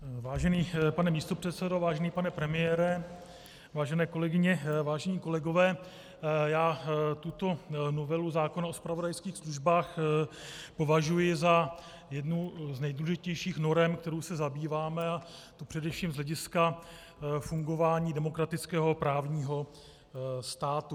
Vážený pane místopředsedo, vážený pane premiére, vážené kolegyně, vážení kolegové, já tuto novelu zákona o zpravodajských službách považuji za jednu z nejdůležitějších norem, kterou se zabýváme, a to především z hlediska fungování demokratického právního státu.